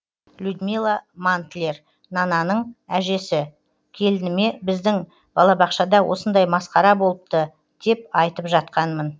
людмила мантлер нананың әжесі келініме біздің балабақшада осындай масқара болыпты деп айтып жатқанмын